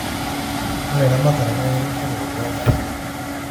ore eramatare naa keretisho terripoto e'ndaa